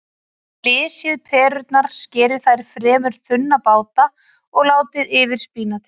Flysjið perurnar, skerið þær í fremur þunna báta og látið yfir spínatið.